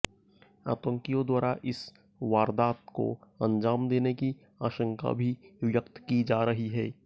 आतंकियों द्वारा इस वारदात को अंजाम देने की आशंका भी व्यक्त की जा रही है